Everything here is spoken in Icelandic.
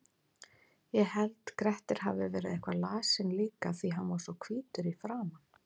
Ég held Grettir hafi verið eitthvað lasinn líka því hann var svo hvítur í framan.